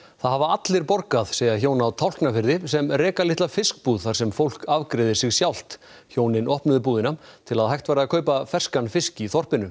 það hafa allir borgað segja hjón á Tálknafirði sem reka litla fiskbúð þar sem fólk afgreiðir sig sjálft hjónin opnuðu búðina til að hægt væri að kaupa ferskan fisk í þorpinu